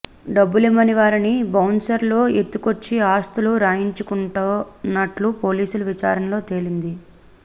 డబ్బులివ్వని వారిని బౌన్సర్లు ఎత్తుకొచ్చి ఆస్తులు రాయించుకుంటున్నట్లు పోలీసుల విచారణలో తేలింది